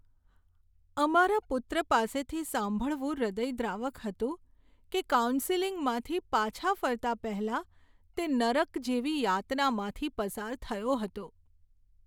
અમારા પુત્ર પાસેથી સાંભળવું હૃદયદ્રાવક હતું કે કાઉન્સેલિંગમાંથી પાછા ફરતા પહેલા તે નરક જેવી યાતનામાંથી પસાર થયો હતો.